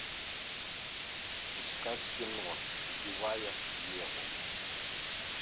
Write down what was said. искать кино убивая еву